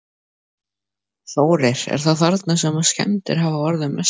Þórir: Er það þarna sem að skemmdir hafa orðið mestar?